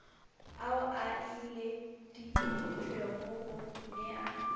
ao a ileditšwego go nea